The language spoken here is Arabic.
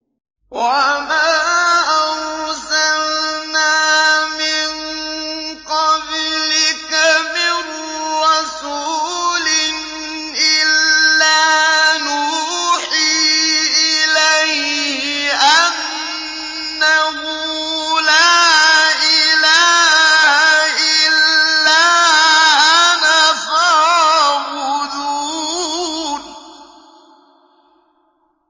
وَمَا أَرْسَلْنَا مِن قَبْلِكَ مِن رَّسُولٍ إِلَّا نُوحِي إِلَيْهِ أَنَّهُ لَا إِلَٰهَ إِلَّا أَنَا فَاعْبُدُونِ